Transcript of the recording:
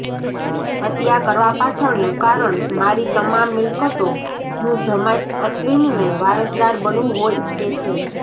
હત્યા કરવા પાછળનું કારણ મારી તમામ મિલ્કતોનું જમાઇ અશ્વિનને વારસદાર બનવું હોઇ તે છે